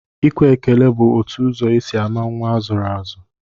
Ikwe ekele bụ otu ụzọ e si ama nnwa a zụrụ azụ